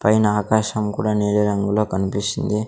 పైన ఆకాశం కూడా నీలి రంగులో కనిపిస్తుంది.